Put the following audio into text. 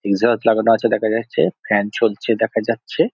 লাগানো আছে দেখা যাচ্ছে ফ্যান চলছে দেখা যাচ্ছে।